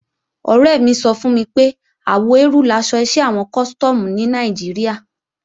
Ọ̀rẹ́ mi sọ fún mi pé àwọ eérú laṣọ iṣẹ́ àwọn Custom ní Nàìjíríà